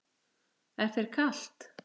Er þér ekki kalt?